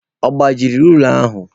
Ọ gbajiri rula ahụ?